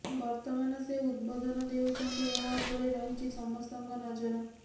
ବର୍ତ୍ତମାନ ସେ ଉଦବୋଧନ ଦେଉଛନ୍ତି ଏହା ଉପରେ ରହିଛି ସମସ୍ତଙ୍କ ନଜର